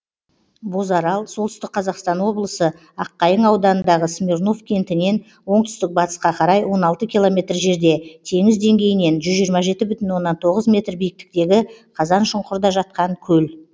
бозарал солтүстік қазақстан облысы аққайың ауданындағы смирнов кентінен оңтүстік батысқа қарай он алты километр жерде теңіз деңгейінен жүз жиырма жеті бүтін оннан тоғыз метр биіктіктегі қазаншұңқырда жатқан көл